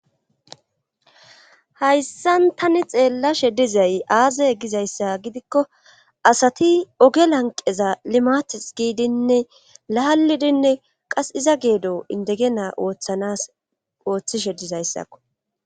hayssan tani xeellashe dizay aaze gizayssa gidikko asati ooge lanqeza limates giidinne lahaalidinne qase iza geedo indege naa ooththanas ooththishe dizayssakko